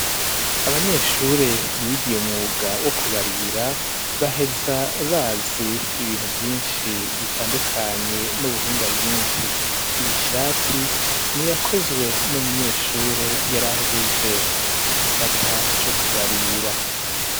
Abanyeshure bigiye umwuga wo kubarira baheza bazi ibintu vyinshi bitandukanye n'ubuhinga bwinshi iyi shati n'iyakozwe n'umunyeshure yar'ahegeje igisata co kubarira.